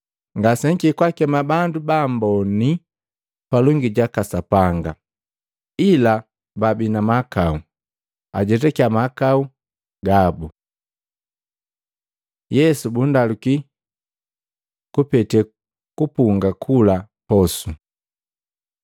Ngasenhikiki kakema bandu baamboni palongi jaka Sapanga, ila babi na mahakau, ajetakya mahakau gabu.” Yesu bundaluki kupete kupunga kula posu Matei 9:14-17; Maluko 2:18-22